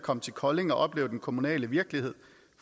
komme til kolding og opleve den kommunale virkelighed